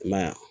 I m'a ye wa